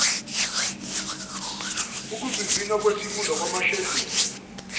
okuvivinya lwesifunda amasheduli